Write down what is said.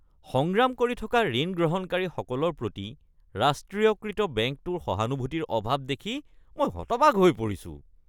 সংগ্ৰাম কৰি থকা ঋণ গ্ৰহণকাৰীসকলৰ প্ৰতি ৰাষ্ট্ৰীয়কৃত বেংকটোৰ সহানুভূতিৰ অভাৱ দেখি মই হতবাক হৈ পৰিছোঁ।